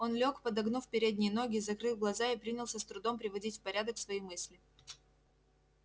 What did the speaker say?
он лёг подогнув передние ноги закрыл глаза и принялся с трудом приводить в порядок свои мысли